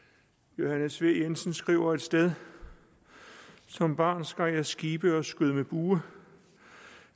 johannes v jensen skriver et sted som barn skar jeg skibe og skød med bue